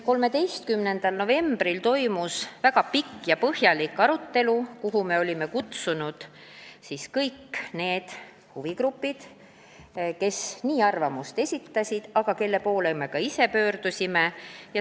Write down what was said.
13. novembril toimus väga pikk ja põhjalik arutelu, kuhu me olime kutsunud kõik need huvigrupid, kes oma arvamust avaldasid ja kelle poole me ise pöördusime.